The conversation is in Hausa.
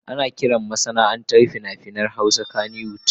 Ana kiran masana'antar fina-finan Hausa kannywood.